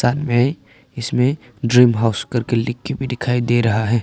अन में इसमें dream house करके लिख के भी दिखाई दे रहा है।